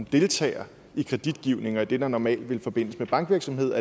deltager i kreditgivningen og i det der normalt ville forbindes med bankvirksomheder